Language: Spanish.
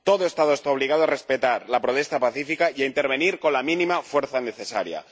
Todo Estado está obligado a respetar la protesta pacífica y a intervenir con la mínima fuerza necesaria.